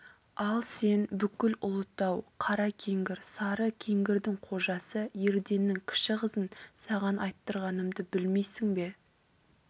ал сен бүкіл ұлытау қара кеңгір сары кеңгірдің қожасы ерденнің кіші қызын саған айттырғанымды білмейсің бе